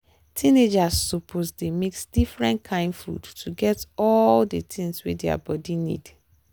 teenagers suppose dey mix different kain food to get all the things wey their body need.